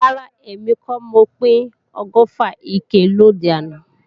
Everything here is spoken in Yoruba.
Rárá, èmi kọ́ mo pín ọgọ́fà ike lòde àná